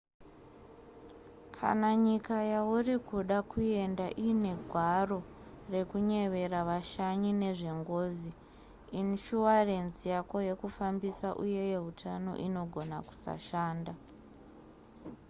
kana nyika yauri kuda kuenda iine gwaro rekunyevera vashanyi nezvengozi inishuwarenzi yako yekufambisa uye yeutano inogona kusashanda